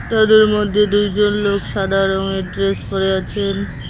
তাদের মধ্যে দুইজন লোক সাদা রঙের ড্রেস পড়ে আছেন।